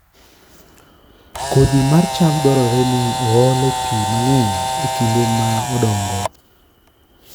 Kodhi mar cham dwarore ni oole pi mang'eny e kinde ma odongo